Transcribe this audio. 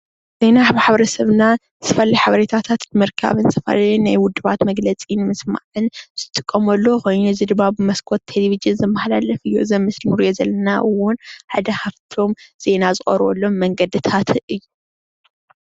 ዜና ማሕበረ ሰብና ዝተፈላለዩ በሬታ ንምርካብ ዝተፈላለዩ ናይ ውድባት መግለፂ ንምስማዕን ዝጥቀመሉ ኮይኑ እዚ ድማ ብመስኮት ቴሌቭዥ ዝመሓላለፍ እዩ፡፡ እዚ ኣብ ምስሊ እንሪኦ ዘለና እውን ሓደ ካፍታም ዜና ዝቀርበሎም መንገድታት እዩ፡፡